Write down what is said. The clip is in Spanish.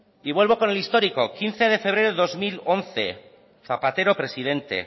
y vuelvo con el histórico quince de febrero de dos mil once zapatero presidente